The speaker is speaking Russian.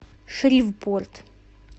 шривпорт